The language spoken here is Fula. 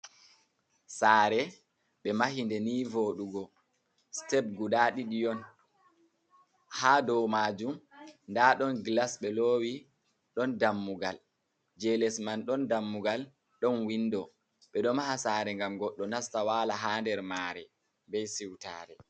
Sare ɓe mahinde ni vodugo step guda ɗiɗi on. ha dow majum nda ɗon glas ɓe lowi ɗon dammugal je les man ɗon dammugal ɗon windo ɓe ɗo maha sare gam goɗɗo nasta wala ha nder mare bei siwtare.